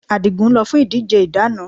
Adigun lọ fún ìdíje ìdáná